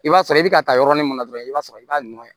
I b'a sɔrɔ i bɛ ka taa yɔrɔnin min na dɔrɔn i b'a sɔrɔ i b'a nɔrɔ